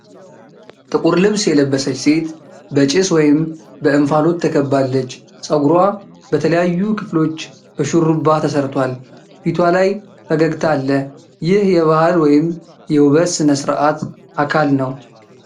ጥቁር ልብስ የለበሰች ሴት በጭስ ወይም በእንፋሎት ተከባለች:: ፀጉሯ በተለያዩ ክፍሎች በሹሩባ ተሰርቷል:: ፊቷ ላይ ፈገግታ አለ:: ይህ የባህል ወይም የውበት ሥነ-ሥርዓት አካል ነው::